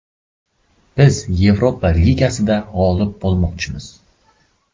Biz Yevropa ligasida g‘olib bo‘lmoqchimiz.